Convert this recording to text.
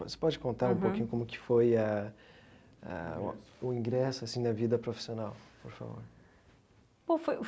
Você pode contar um pouquinho como que foi a ah o ingresso assim da vida profissional, por favor.